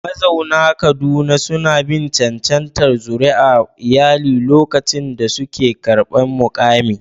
Mazauna Kaduna suna bin cancantar zuri'ar iyali lokacin da suke karɓar mukami.